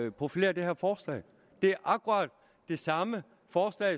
at profilere det her forslag det er akkurat det samme forslag